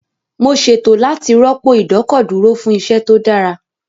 Mo ṣètò láti rọ́pò ìdọ́kọ̀dúró fún iṣẹ́ tó dára